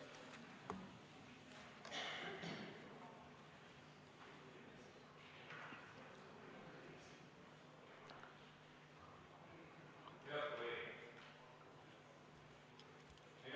Head kolleegid!